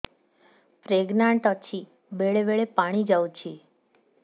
pregnant ଅଛି ବେଳେ ବେଳେ ପାଣି ଯାଉଛି